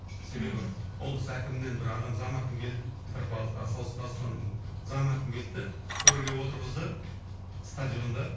себебі облыс әкімінен бір адам зам әкім келді петропавл солтүстік қазақстан зам әкім келді де төрге отырғызды стадионда